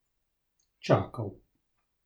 Čakal.